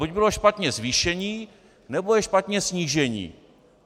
Buď bylo špatně zvýšení, nebo je špatně snížení.